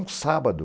Um sábado,